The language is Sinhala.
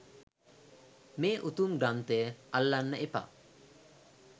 මේ උතුම් ග්‍රන්ථය අල්ලන්න එපා